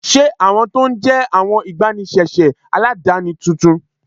Ṣé awọn tó ń jẹ́ awọn igbàníṣéṣé aládánì tóntún?